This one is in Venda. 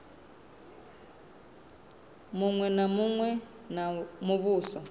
muṅwe na muṅwe wa muvhuso